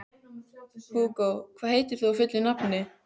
Hugó, hvað heitir þú fullu nafni?